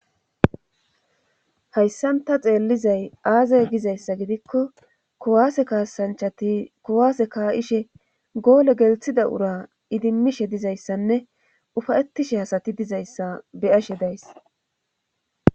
Hayssan ta xeellizay aazay gizayssa gidikko kuwaase kaasanchati kuwaase kaa7ishe goole gelthida ura idimmishe dizayssanne ufayettishe hasati dizayssa beyashe dayss.